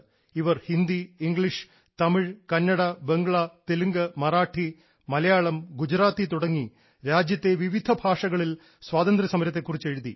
ഇവർ ഹിന്ദി ഇംഗ്ലീഷ് തമിഴ് കന്നഡ ബംഗ്ല തെലുങ്ക് മറാഠി മലയാളം ഗുജറാത്തി തുടങ്ങി രാജ്യത്തെ വിവിധ ഭാഷകളിൽ സ്വാതന്ത്ര്യസമരത്തെ കുറിച്ച് എഴുതി